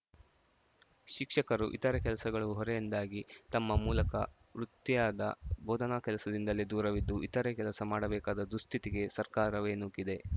ಶಿಕ್ಷಕರು ಇತರೆ ಕೆಲಸಗಳು ಹೊರೆಯಿಂದಾಗಿ ತಮ್ಮ ಮೂಲಕ ವೃತ್ತಿಯಾದ ಬೋಧನಾ ಕೆಲಸದಿಂದಲೇ ದೂರವಿದ್ದು ಇತರೆ ಕೆಲಸ ಮಾಡಬೇಕಾದ ದುಸ್ಥಿತಿಗೆ ಸರ್ಕಾರವೇ ನೂಕಿದೆ